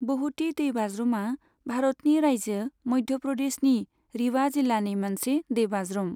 बहुति दैबाज्रुमा भारतनि रायजो मध्य' प्रदेशनि रिवा जिल्लानि मोनसे दैबाज्रुम।